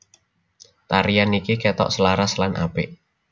Tarian niki ketok selaras lan apik